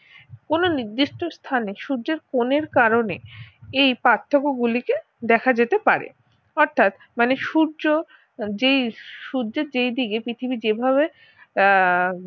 কোন নির্দিষ্ট স্থানে সূর্যের কোনের কারণে এই পার্থক্য গুলি কে দেখা যেতে পারে অর্থাৎ মানে সূর্য যেই সূর্যের যেই দিকে পৃথিবী যেই ভাবে আহ